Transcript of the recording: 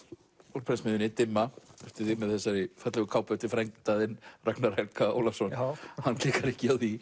úr prentsmiðjunni dimma eftir þig með þessari fallegu kápu eftir frænda þinn Ragnar Helga Ólafsson hann klikkar ekki á því